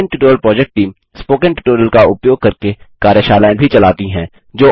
spoken tutorial project team spoken tutorial का उपयोग करके कार्यशालाएँ भी चलाती है